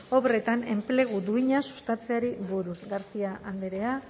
obretan enplegu duina sustatzeari buruz garcia andrea